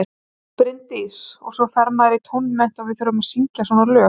Bryndís: Og svo fer maður í tónmennt og við þurfum að syngja svona lög.